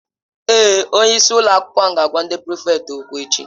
Èé, Onye isi ụlọ akwụkwọ ga-agwa ndị prịfèkt okwu echi.